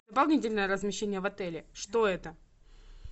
дополнительное размещение в отеле что это